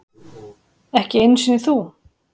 Ekki einu sinni þú.